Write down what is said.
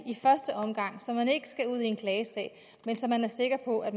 i første omgang så man ikke skal ud i en klagesag men så man er sikker på at